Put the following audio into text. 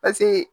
Paseke